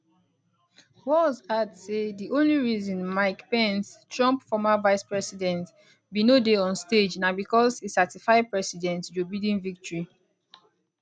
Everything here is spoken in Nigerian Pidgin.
walz add say di only reason mike pence trump former vicepresident bin no dey on stage na bicos e certify president joe biden victory